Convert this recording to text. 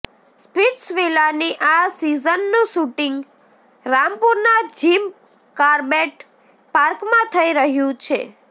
સ્પિટ્સવિલાની આ સીઝનનું શુટિંગ રામપુરના જિમ કાર્બેટ પાર્કમાં થઇ રહ્યું છે